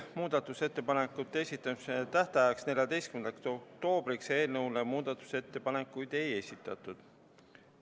Muudatusettepanekute esitamise tähtajaks, 14. oktoobriks, eelnõu kohta muudatusettepanekuid ei esitatud.